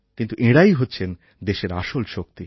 কিন্তু এঁরাই হচ্ছেন দেশের আসল শক্তি